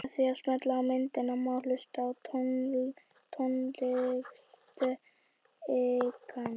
Með því að smella á myndina má hlusta á tónstigann.